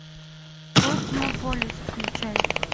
космополис включай